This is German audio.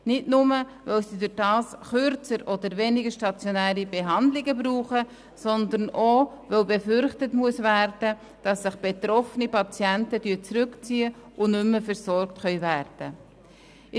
Nicht nur, weil sie dadurch kürzer oder weniger stationäre Behandlungen brauchen, sondern auch, weil befürchtet werden muss, dass sich betroffene Patienten zurückziehen und nicht mehr versorgt werden können.